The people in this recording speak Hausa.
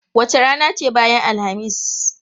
Wace rana ce bayan Alhamis?